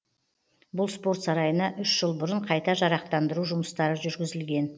бұл спорт сарайына үш жыл бұрын қайта жарақтандыру жұмыстары жүргізілген